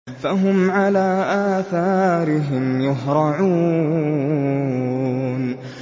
فَهُمْ عَلَىٰ آثَارِهِمْ يُهْرَعُونَ